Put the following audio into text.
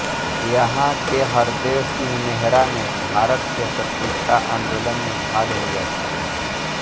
यहां के हरदेवसिंह नेहरा ने भारत के स्वतंत्रता आंदोलन में भाग लिया था